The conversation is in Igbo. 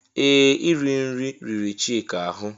Ee! Iri nri riri Chika ahụ.